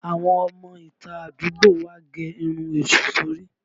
Àwọn ọmọ ìta àdúgbò wa gẹ irun èṣù sori